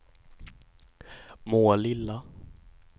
Målilla